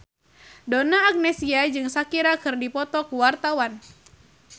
Donna Agnesia jeung Shakira keur dipoto ku wartawan